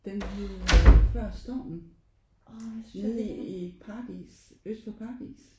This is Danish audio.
Den hed Før stormen nede i Paradis Øst for Paradis